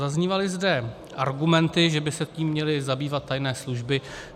Zaznívaly zde argumenty, že by se tím měly zabývat tajné služby.